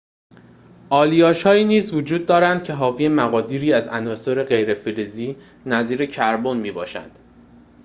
آلیاژهایی نیز وجود دارند که حاوی مقادیری از عناصر غیر‌فلزی نظیر کربن می‌باشند